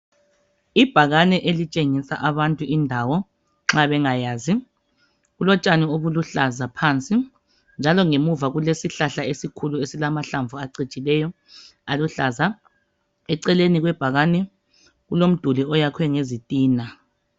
ibhakane elitshengisa abantu indawo nxabengayazi kulotshani olubuhlaza ngaphansi njalo ngemuva kulesihlahla esilamahlamvu acijileyo aluhlaza eceleni kwebhakani kulomduli oyakhwe ngezitina